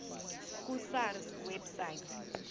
ku sars website